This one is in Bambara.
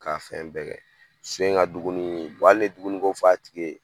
K'a fɛn bɛɛ kɛ. So in ŋa dumunii hali n'i ye dumuni ko fɔ a tigi ye